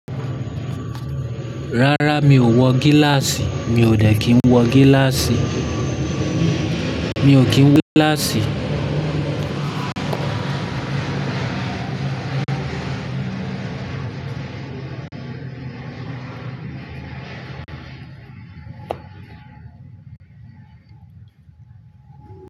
Rárá mi ò wọ gíláàsì, mi ò dẹ̀ kí ń wọ gíláàsì. Mi ò kí ń wọ gíláàsì.